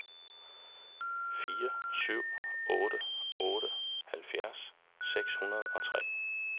fire syv otte otte halvfjerds seks hundrede og tre